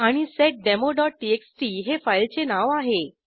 आणि seddemoटीएक्सटी हे फाईलचे नाव आहे